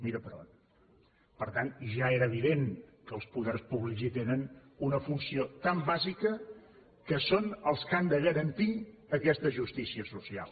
mira per on per tant ja era evident que els poders públics hi tenen una funció tan bàsica que són els que han de garantir aquesta justícia social